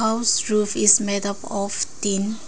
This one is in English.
house roof is made up of tin.